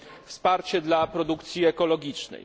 wsparcie dla produkcji ekologicznej